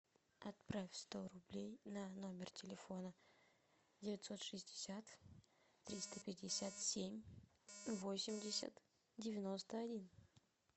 отправь сто рублей на номер телефона девятьсот шестьдесят триста пятьдесят семь восемьдесят девяносто один